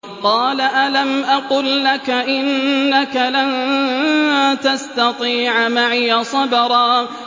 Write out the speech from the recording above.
۞ قَالَ أَلَمْ أَقُل لَّكَ إِنَّكَ لَن تَسْتَطِيعَ مَعِيَ صَبْرًا